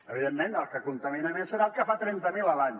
evidentment el que contamina més serà el que en fa trenta mil a l’any